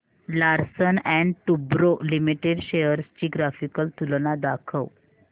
Larsen and टुर्बो limited shares ची graphical तुलना दाखव